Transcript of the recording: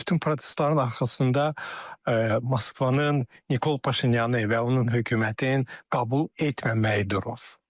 Bütün protestlərin arxasında Moskvanın Nikol Paşinyanı və onun hökumətin qəbul etməməyi durur.